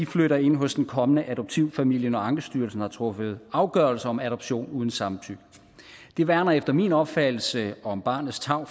flytter ind hos den kommende adoptivfamilie når ankestyrelsen har truffet afgørelse om adoption uden samtykke det værner efter min opfattelse om barnets tarv